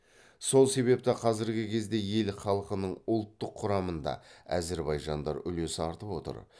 сол себепті қазіргі кезде ел халқының ұлттық құрамында әзірбайжандар үлесі артып отыр